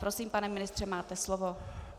Prosím, pane ministře, máte slovo.